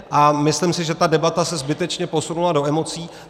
A myslím si, že ta debata se zbytečně posunula do emocí.